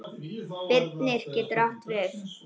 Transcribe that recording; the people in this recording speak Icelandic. Birnir getur átt við